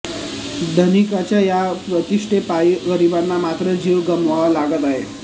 धनिकांच्या या प्रतिष्ठेपायी गरिबांना मात्र जीव गमवावा लागत आहे